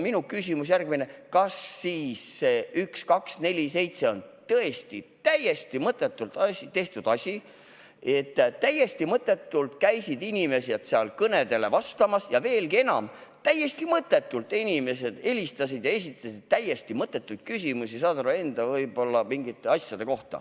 Minu küsimus on aga järgmine: kas 1247 on tõesti täiesti mõttetult tehtud asi, kus täiesti mõttetult käisid inimesed kõnedele vastamas ja, veelgi enam, kuhu inimesed täiesti mõttetult helistasid ja esitasid täiesti mõttetuid küsimusi mingisuguste enda asjade kohta?